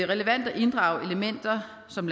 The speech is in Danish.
relevant at inddrage elementer som